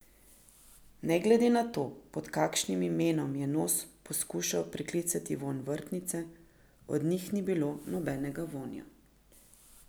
Ne glede na to, pod kakšnim imenom je nos poskušal priklicati vonj vrtnice, od njih ni bilo nobenega vonja.